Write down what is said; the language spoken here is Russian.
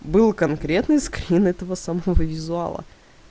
был конкретный скрин этого самого визуала